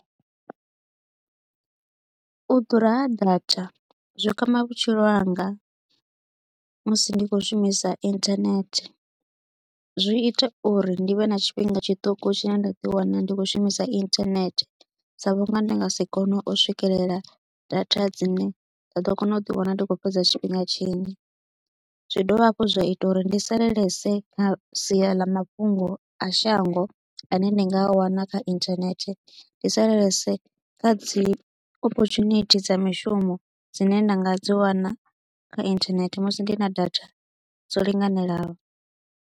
U ḓura ha data zwi kwama vhutshilo hanga musi ndi kho shumisa internet zwi ita uri ndi vhe na tshifhinga tshiṱuku tshine nda ḓi wana ndi kho shumisa internet sa vhunga ndi nga si kone u swikelela data dzine nda ḓo kona u ḓi wana ndi khou fhedza tshifhinga tshinzhi, zwi dovha hafhu zwa ita uri ndi salelese kha sia ḽa mafhungo a shango ene ndi nga wana kha internet ndi salelese kha dzi opportunity dza mishumo dzine nda nga dzi wana kha inthanethe musi ndi na data dzo linganelaho.